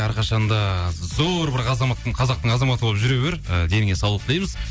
әрқашан да зор бір қазақтың азаматы болып жүре бер і деніңе саулық тілейміз